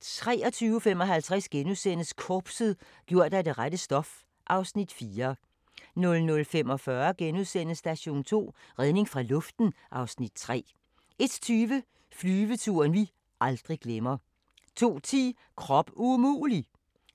23:55: Korpset - gjort af det rette stof (Afs. 4)* 00:45: Station 2: Redning fra luften (Afs. 3)* 01:20: Flyveturen vi aldrig glemmer 02:10: Krop umulig!